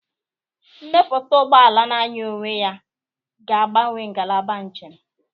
Mmepụta ụgbọ ala na-anya onwe ya ga-agbanwe ngalaba njem.